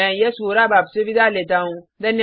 मैं यश वोरा अब आपसे विदा लेता हूँ